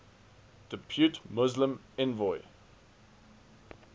depute muslim envoy